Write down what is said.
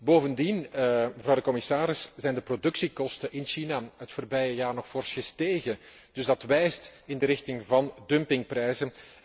Bovendien, mevrouw de commissaris, zijn de productiekosten in China in het voorbije jaar nog fors gestegen, dus dat wijst in de richting van dumpingprijzen.